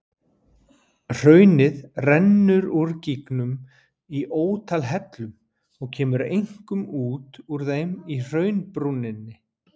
Hraunið rennur úr gígnum í ótal hellum og kemur einkum út úr þeim í hraunbrúninni.